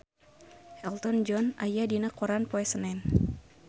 Elton John aya dina koran poe Senen